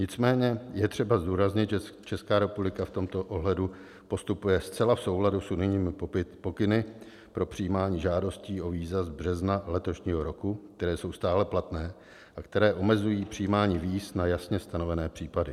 Nicméně je třeba zdůraznit, že Česká republika v tomto ohledu postupuje zcela v souladu s unijními pokyny pro přijímání žádostí o víza z března letošního roku, které jsou stále platné a které omezují přijímání víz na jasně stanovené případy.